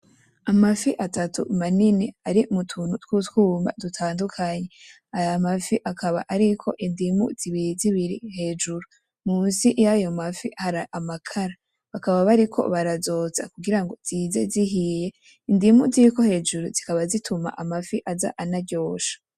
Amafi atatu manini ari mu tuntu tutwuma dutandukanye, aya mafi akaba ariko indimu zibiri zibiri hejuru, musi yayo mafi hari amakara, bakaba bariko barazotsa kugira ngo zize zihiye. Indimu ziri hejuru zikaba zituma amafi aza anaryoshe.